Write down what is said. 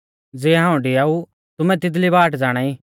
ज़िऐ हाऊं डिआऊ तुमै तिदली बाट ज़ाणाई